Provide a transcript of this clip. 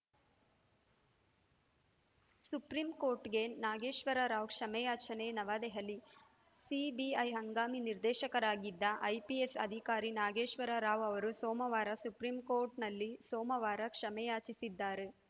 supreme ಕೋರ್ಟ್‌ಗೆ Nageswara Rao ಕ್ಷಮೆಯಾಚನೆ ನವದಹಲಿ CBI ಹಂಗಾಮಿ ನಿರ್ದೇಶಕರಾಗಿದ್ದ IPS ಅಧಿಕಾರಿ ನಾಗೇಶ್ವರರಾವ್‌ ಅವರು ಸೋಮವಾರ ಸುಪ್ರೀಂ ಕೋರ್ಟ್‌ನಲ್ಲಿ ಸೋಮವಾರ ಕ್ಷಮೆಯಾಚಿಸಿದ್ದಾರೆ